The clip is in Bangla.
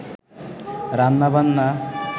রান্নাবান্না